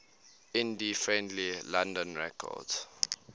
indie friendly london records